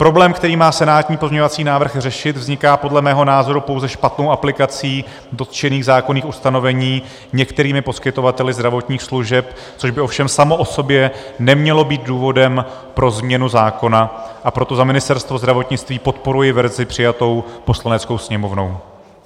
Problém, který má senátní pozměňovací návrh řešit, vzniká podle mého názoru pouze špatnou aplikací dotčených zákonných ustanovení některými poskytovateli zdravotních služeb, což by ovšem samo o sobě nemělo být důvodem pro změnu zákona, a proto za Ministerstvo zdravotnictví podporuji verzi přijatou Poslaneckou sněmovnou.